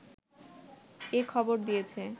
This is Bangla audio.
এ খবর দিয়েছে